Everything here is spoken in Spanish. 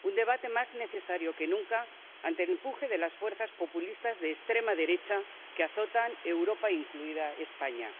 Un debate más necesario que nunca ante el empuje de las fuerzas populistas de extrema derecha, que azotan Europa, incluida España.